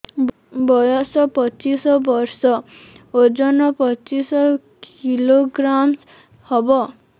ବୟସ ପଚିଶ ବର୍ଷ ଓଜନ ପଚିଶ କିଲୋଗ୍ରାମସ ହବ